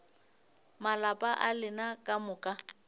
malapa a lena ka moka